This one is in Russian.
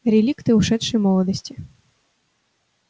реликты ушедшей молодости